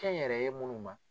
Kɛnyɛrɛye munnu ma.